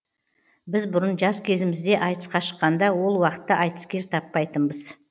біз бұрын жас кезімізде айтысқа шыққанда ол уақытта айтыскер таппайтынбыз